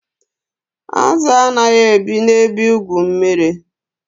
Azụ anaghị ebi na ebe igwu mmiri